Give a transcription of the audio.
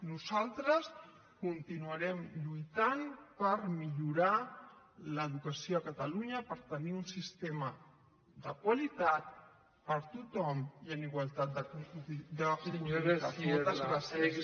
nosaltres continuarem lluitant per millorar l’educació a catalunya per tenir un sistema de qualitat per a tothom i en igualtat d’oportunitats